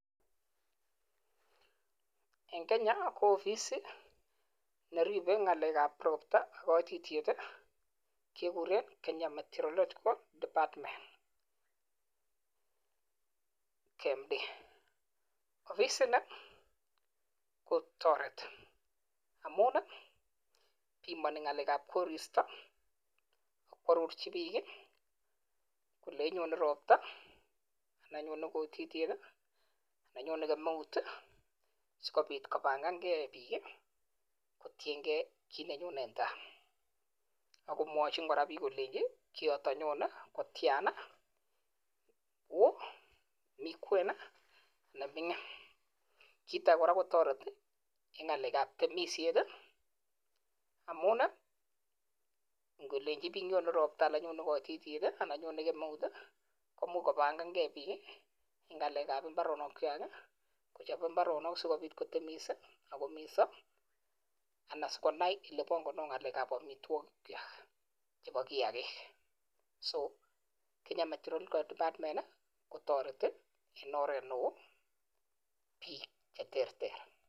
En Kenya, ko ofisit ne ribe ng'alekab ropta, koititiet ii keguren Kenya Meteorological Department, KMD. Ofisini kotoreti amun ii bimoni ng'alekab koristo, koarorji biik ii, kolenji nyone ropta and nyone koititiet, ana nyone kemeut ii sikobit kobangange biik kotienge kit nenyone en taa. Ago mwochin kora biik kolenji kioton nyone kotiana: woo, mi kwen ii, anan ming'in. Kit age koraa kotoreti en ng'alekab temisiet ii, amun ii ngolenchi biik nyone ropta ana nyone koititiet ii ana nyone kemuet ii komuch kobangange biik ii en ng'alekab mbaronikwag ii kochop mbaronok asikobiit kotemis ak kominso ana sigonai olebongondo ng'alekap amitwogikwak chebo kiyakik. So Kenya Meteorological Department kotoreti en oret neo biik che terter.